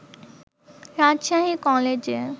রাজশাহী কলেজে